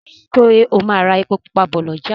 Ṣe o má rà èpo pupa bó l'ọja